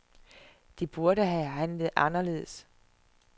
De burde have handlet anderledes.